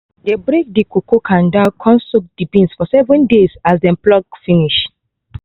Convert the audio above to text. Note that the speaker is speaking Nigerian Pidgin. dey break the cocoa kanda con soak the beans for seven days as dey pluck finish